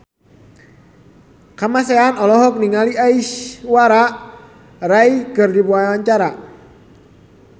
Kamasean olohok ningali Aishwarya Rai keur diwawancara